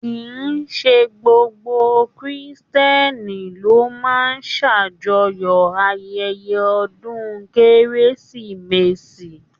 Kìí ṣe gbogbo Kiristẹni ló máa n s'ajọ̀yọ ayẹyẹ ọdún kérésìmesì.